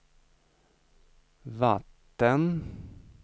vatten